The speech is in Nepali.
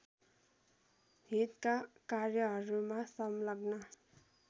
हितका कार्यहरूमा संलग्न